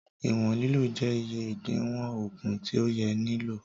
Ìwọn lílò jẹ́ iye ìdiwọ̀n ògùn tí ó yẹ ní lílò